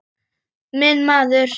Minn maður!